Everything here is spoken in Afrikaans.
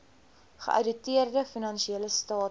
geouditeerde finansiële state